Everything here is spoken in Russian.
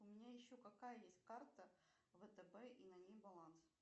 у меня еще какая есть карта втб и на ней баланс